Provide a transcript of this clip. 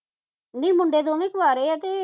ਨਹੀਂ ਮੁੰਡੇ ਦੋਵੇ ਕਵਾਰੇ ਆ ਤੇ